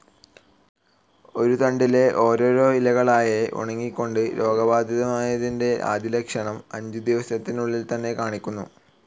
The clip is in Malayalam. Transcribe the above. ഒരു തണ്ടിലെ ഓരോരോ ഇലകളായേ ഉണങ്ങികൊണ്ട്, രോഗബാധിതമായതിൻ്റെ ആദ്യ ലക്ഷണം, അഞ്ചുദിവസത്തിനുള്ളിൽ തന്നെ കാണിക്കുന്നു.